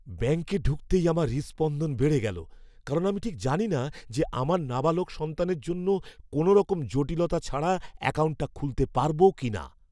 ব্যাঙ্কে ঢুকতেই আমার হৃদস্পন্দন বেড়ে গেলো, কারণ আমি ঠিক জানিনা যে আমার নাবালক সন্তানের জন্য কোনোরকম জটিলতা ছাড়া অ্যাকাউন্টটা খুলতে পারব কিনা।